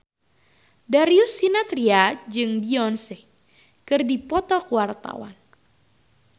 Darius Sinathrya jeung Beyonce keur dipoto ku wartawan